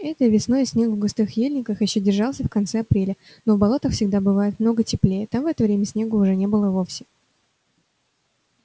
этой весной снег в густых ельниках ещё держался в конце апреля но в болотах всегда бывает много теплее там в это время снега уже не было вовсе